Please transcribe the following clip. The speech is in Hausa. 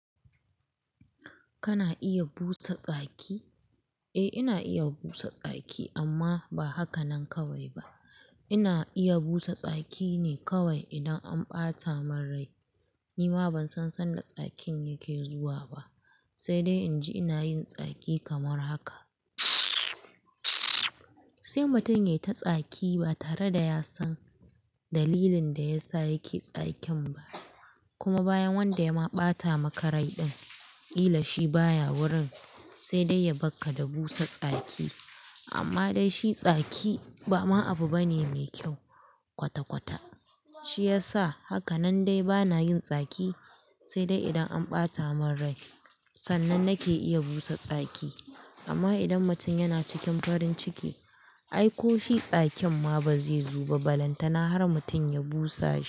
Kana iya busa tsaki? Eh ina iya busa tsaki amma ba haka nan kawai ba. Ina iya busa tsaki ne kawai idan an ɓata mun rai. Nima ban san sadda tsakin yake zuwa ba, sai dai in ji ina yin tsaki kamar haka mtttzz. Sai mutum ya yi ta tsaki ba tare da ya san dalilin da ya sa yake tsakin ba. Kuma bayan wanda ya ma ɓata maka rai din, ƙila shi baya wurin sai dai ya bakka da busa tsaki. Amma dai shi tsaki ba ma abu bane mai kyau kwata-kwata. Shi ya sa haka nan dai bana yin tsaki sai dai idan an ɓata mun rai sannan nake iya busa tsaki. Amma idan mutum yana cikin farin ciki ai ko shi tsakin ma bazai zuba balantana har mutum ya busa shi.